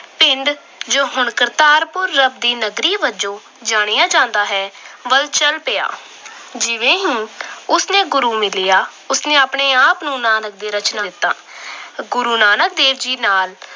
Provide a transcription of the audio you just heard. ਪਿੰਡ ਜੋ ਹੁਣ ਕਰਤਾਰਪੁਰ ਰੱਬ ਦੀ ਨਗਰੀ ਵਜੋਂ ਜਾਣਿਆ ਜਾਂਦਾ ਹੈ, ਵੱਲ ਚਲ ਪਿਆ। ਜਿਵੇਂ ਹੀ ਉਸ ਨੂੰ ਗੁਰੂ ਮਿਲਿਆ। ਉਸ ਨੇ ਆਪਣੇ ਆਪ ਨੂੰ ਨਾਨਕ ਦੇ ਦਿੱਤਾ। ਗੁਰੂ ਨਾਨਕ ਦੇਵ ਜੀ ਨਾਲ